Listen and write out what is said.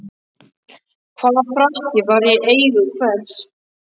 Hvaða frakki var í eigu hvers?